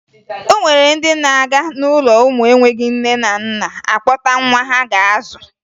O nwere ndị na-aga n'ụlọ ụmụ enweghi nne na nna akpọta nwa ha ga-azụ